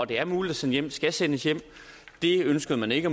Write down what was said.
det er muligt at sende hjem skal sendes hjem det ønskede man ikke